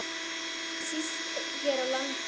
Ekki síst hér á landi.